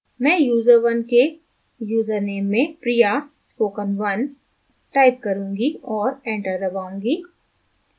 मैं user1 के username में priyaspoken1 type करुँगी और enter दबाऊँगी